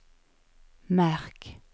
märk